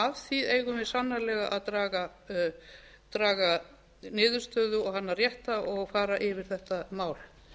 af því eigum við sannarlega að draga niðurstöðu og hana rétta og fara yfir þetta mál